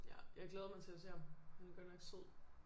Ja jeg glæder mig til at se ham han er godt nok sød